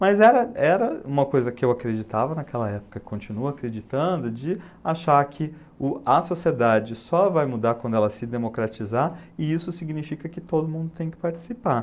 Mas era era uma coisa que eu acreditava naquela época, e continuo acreditando, de achar que o a sociedade só vai mudar quando ela se democratizar, e isso significa que todo mundo tem que participar.